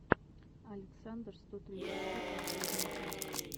александр сто тридцать три последняя часть